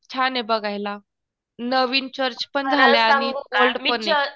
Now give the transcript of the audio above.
छान ये बघायला. नवीन चर्च पण झाले आणि ओल्ड पण येत